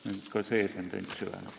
Nii et ka see tendents süveneb.